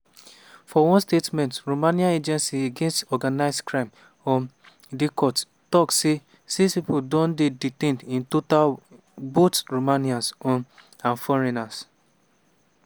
for one statement romania agency against organised crime um diicot tok say six pipo don dey detained in total both romanians um and foreigners.